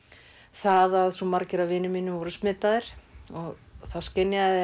það að svo margir af vinum mínum voru smitaðir þá skynjaði